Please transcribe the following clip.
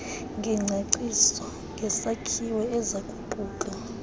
ngengcaciso ngesakhiwo ezakuquka